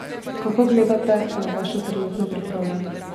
Kako gledate na vašo trenutno pripravljenost?